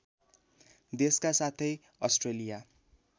देशका साथै अस्ट्रेलिया